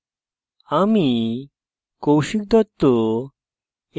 আমি কৌশিক দত্ত এই